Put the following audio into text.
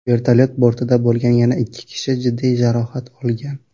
Vertolyot bortida bo‘lgan yana ikki kishi jiddiy jarohat olgan.